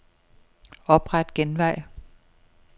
Opret genvej.